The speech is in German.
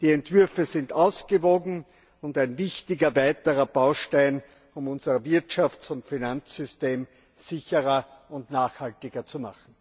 Die Entwürfe sind ausgewogen und ein wichtiger weiterer Baustein, um unser Wirtschafts und Finanzsystem sicherer und nachhaltiger zu machen.